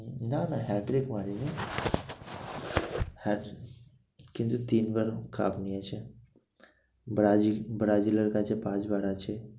না না hat trick হয়নি জানিস কিন্তু তিনবার এরম cup নিয়েছে। ব্রাজিল, ব্রাজিলের কাছে পাঁচবার আছে।